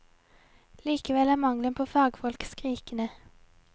Likevel er mangelen på fagfolk skrikende.